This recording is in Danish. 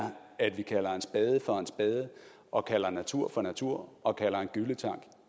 at vi kalder en spade for en spade og kalder natur for natur og kalder en gylletank